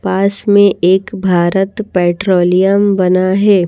पास में एक भारत पेट्रोलियम बना है।